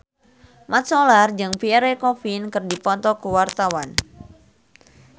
Mat Solar jeung Pierre Coffin keur dipoto ku wartawan